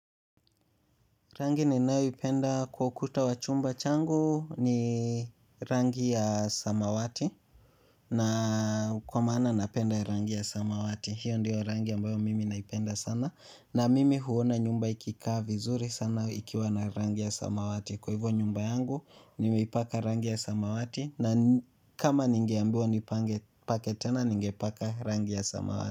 Rangi ninayoipenda kwa ukuta wa chumba changu ni rangi ya samawati. Na kwa maana napenda ya rangi ya samawati hiyo ndiyo rangi ambayo mimi naipenda sana na mimi huona nyumba ikikaa vizuri sana ikiwa na rangi ya samawati kwa hivo nyumba yangu nimeipaka rangi ya samawati na n kama ningeambiwa nipange pake tena ningepaka rangi ya samawati.